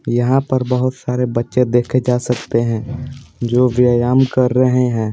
यहाँ पर बहुत सारे बच्चे देखे जा सकते हैं जो व्यायाम कर रहे हैं।